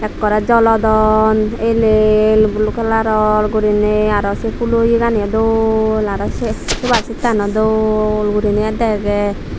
ekkore jolodon el el blue colour gurine aro se poolo yeganiyo dol aro se sofa seat tano dol gure dege.